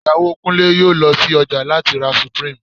Ìyàwó Kúnlé yóò lọ sí ọjà láti ra Supreme